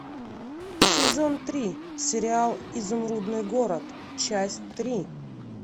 сезон три сериал изумрудный город часть три